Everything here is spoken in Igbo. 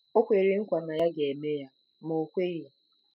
O kwere nkwa na ya ga-eme ya, ma o kweghị.